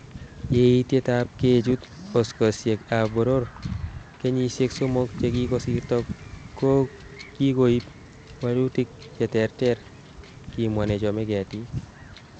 Yeetitab kechut oskosiek ab boror kenyisiek somok chekikosirto kokikoib woolutik che terter, kimwa nechome ketik.